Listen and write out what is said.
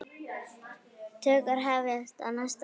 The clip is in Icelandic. Tökur hefjast á næsta ári.